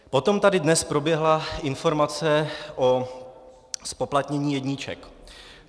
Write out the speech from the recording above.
Potom tady dnes proběhla informace o zpoplatnění jedniček.